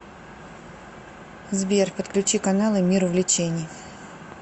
сбер подключи каналы мир увлечений